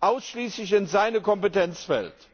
ausschließlich in seine Kompetenz fällt.